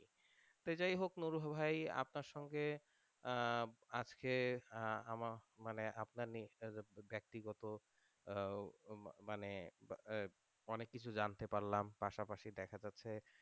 তো যাই হোক ভাই আপনার সঙ্গে আহ আজকে আমার মানে আপনার যে ব্যাক্তিগত আহ মানে অনেক কিছু জানতে পারলাম পাশাপাশি দেখা যাচ্ছে,